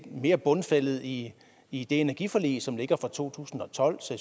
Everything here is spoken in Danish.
mere bundfældet i i det energiforlig som ligger fra to tusind og tolv så